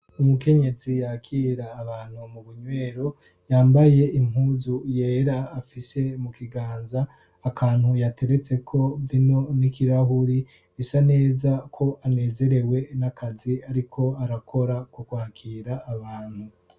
umukenyezi yakira abantu mu bunywero yambaye impuzu yera afise mu kiganza akantu yateretse ko vino n'ikirahuri bisa neza ko anezerewe n'akazi ariko arakora kukwakira abantu